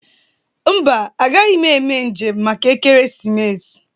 Mba, agaghị m eme njem maka ekeresimesi.